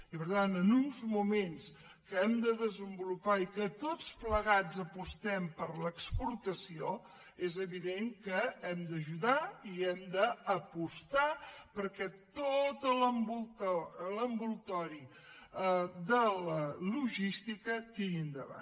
i per tant en uns moments en què hem de desenvolupar i que tots plegats apostem per l’exportació és evident que hem d’ajudar i hem d’apostar perquè tot l’embolcall de la logística tiri endavant